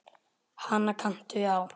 Hana kanntu á.